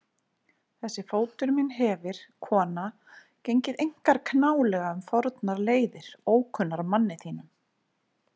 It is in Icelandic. Þessi fótur minn hefir, kona, gengið einkar knálega um fornar leiðir, ókunnar manni þínum.